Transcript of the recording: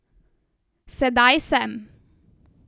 Sedaj sem.